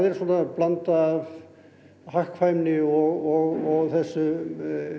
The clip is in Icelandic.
svona blanda af hagkvæmni og þessum